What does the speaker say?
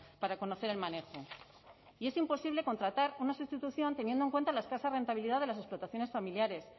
para conocer el manejo y es imposible contratar una sustitución teniendo en cuenta la escasa rentabilidad de las explotaciones familiares